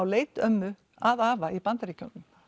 leit ömmu að afa í Bandaríkjunum